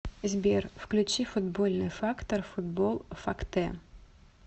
сбер включи футбольный фактор футбол фактэ